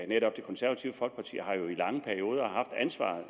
netop det konservative folkeparti har jo i lange perioder haft ansvaret